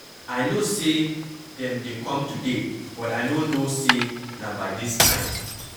I know say dem dey come today but I no know say na by dis time.